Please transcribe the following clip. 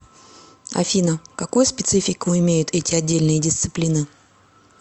афина какую специфику имеют эти отдельные дисциплины